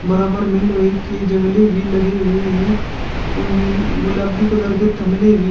बराबर में लोहे के जंगले भी लगे हुए हैं और नीले गुलाबी के कलर के गमले थमले भी है।